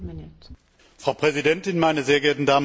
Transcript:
Frau Präsidentin, meine sehr geehrten Damen und Herren!